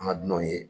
An ka dunanw ye